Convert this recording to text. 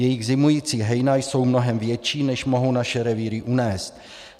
Jejich zimující hejna jsou mnohem větší, než mohou naše revíry unést.